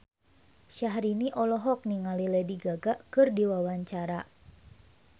Syahrini olohok ningali Lady Gaga keur diwawancara